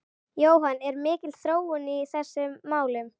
Jóhann, er mikil þróun í þessum málum?